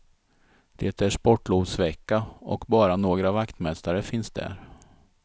Det är sportlovsvecka, och bara några vaktmästare finns där.